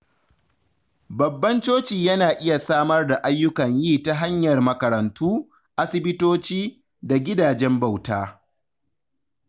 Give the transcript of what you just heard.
Babban coci yana iya samar da ayyukan yi ta hanyar makarantu, asibitoci, da gidajen bauta.